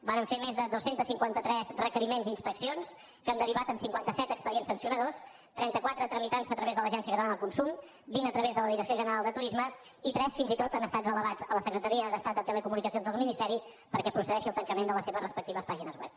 vàrem fer més de dos cents i cinquanta tres requeriments d’inspeccions que han derivat en cinquanta set expedients sancionadors trenta quatre s’han tramitat a través de l’agència catalana del consum vint a través de la direcció general de turisme i tres fins i tot han estat elevats a la secretaria d’estat de telecomunicacions del ministeri perquè procedeixi al tancament de les seves respectives pàgines web